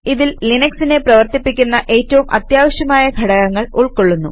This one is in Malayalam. ഇതിൽ ലിനക്സിനെ പ്രവർത്തിപ്പിക്കുന്ന ഏറ്റവും അത്യാവശ്യമായ ഘടകങ്ങൾ ഉൾക്കൊള്ളുന്നു